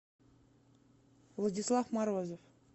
владислав морозов